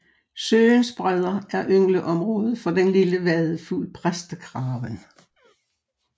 Søens bredder er yngleområdet for den lille vadefugl præstekraven